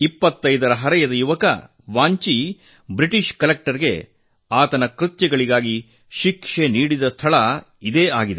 25ರ ಹರೆಯದ ಯುವಕ ವಾಂಚಿ ಬ್ರಿಟಿಷ್ ಕಲೆಕ್ಟರ್ಗೆ ಆತನ ಕೃತ್ಯಗಳಿಗಾಗಿ ಶಿಕ್ಷೆ ನೀಡಿದ ಸ್ಥಳ ಇದಾಗಿದೆ